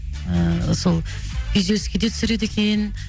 ы сол күйзеліске де түсіреді екен